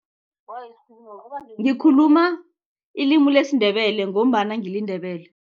Ngikhuluma ilimi lesiNdebele ngombana ngiliNdebele.